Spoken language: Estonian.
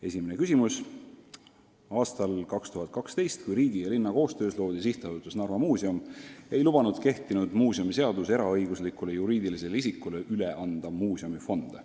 Esimene küsimus: "Aastal 2012, mil riigi ja linna koostöös loodi sihtasutus Narva Muuseum, ei lubanud kehtinud muuseumiseadus eraõiguslikule juriidilisele isikule üle anda muuseumifonde.